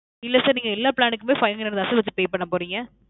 இல்ல sir நாங்க எல்லா plan க்குமே five hundred தான் sir pay பண்ண போறீங்க.